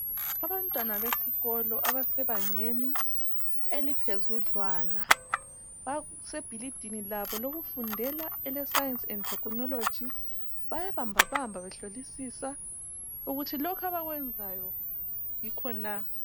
Abantwana besikolo abasebangeni eliphezudlwana base bhilidini labo lokufundela ele Science and Technology, bayabambabamba behlolisisa ukuthi lokho abakwenzayo yikho na.